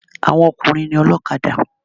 Àwọn ọkùnrin ni ọlọ́kadà.